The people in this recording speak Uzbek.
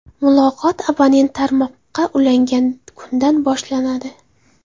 Muloqot abonent tarmoqga ulangan kundan boshlanadi.